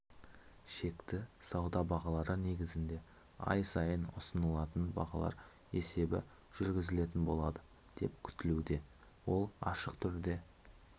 шекті сауда бағалары негізінде ай сайын ұсынылатын бағалар есебі жүргізілетін болады деп күтілуде ол ашық түрде